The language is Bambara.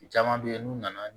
Caman bɛ yen n'u nana